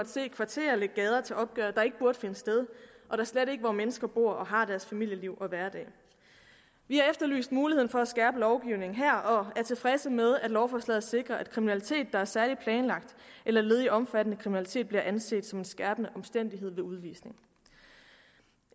se kvarterer lægge gader til opgøret der ikke burde finde sted og da slet ikke hvor mennesker bor og har deres familieliv og hverdag vi har efterlyst muligheden for at skærpe lovgivningen her og er tilfredse med at lovforslaget sikrer at kriminalitet der er særlig planlagt eller led i omfattende kriminalitet bliver anset som en skærpende omstændighed ved udvisning